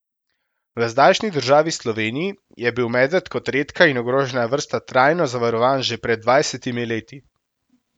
V zdajšnji državi Sloveniji je bil medved kot redka in ogrožena vrsta trajno zavarovan že pred dvajsetimi leti.